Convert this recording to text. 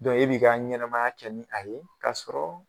Dɔnku e bɛ i ka ɲɛnɛmaya kɛ ni a ye k'a sɔrɔ